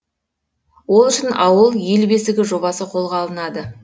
ол үшін ауыл ел бесігі жобасы қолға алынады